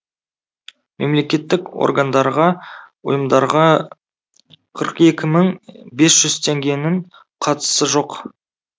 мемлекеттік органдарға ұйымдарға қырық екі мың бес жүз теңгенің қатысы жоқ